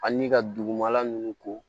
Ani ka dugumala ninnu ko